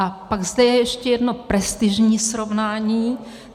A pak zde je ještě jedno prestižní srovnání.